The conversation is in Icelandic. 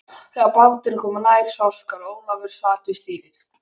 Þegar báturinn kom nær sást hvar Ólafur sat við stýrið.